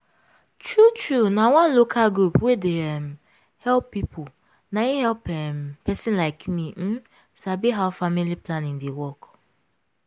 true true na one local group wey dey um help people na im help um pesin like me um sabi how family planning dey work.